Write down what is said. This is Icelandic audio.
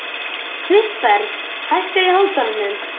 Kristberg, hækkaðu í hátalaranum.